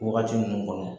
Wagati mun kɔnɔ